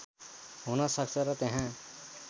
हुन सक्छ र त्यहाँ